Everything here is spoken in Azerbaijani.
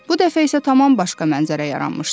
Bu dəfə isə tamam başqa mənzərə yaranmışdı.